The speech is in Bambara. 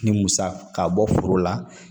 Ni musa ka bɔ foro la